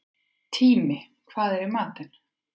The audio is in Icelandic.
Tími, hvað er í matinn?